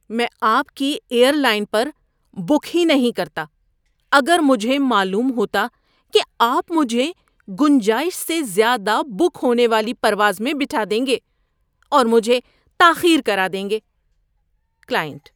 میں آپ کی ایئر لائن پر بک ہی نہیں کرتا اگر مجھے معلوم ہوتا کہ آپ مجھے گنجائش سے زیادہ بک ہونے والی پرواز میں بٹھا دیں گے اور مجھے تاخیر کرا دیں گے۔ (کلائنٹ)